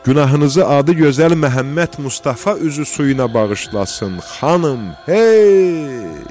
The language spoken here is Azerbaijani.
Günahınızı adı gözəl Məhəmməd Mustafa üzü suyuna bağışlasın, xanım, hey!